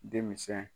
Denmisɛn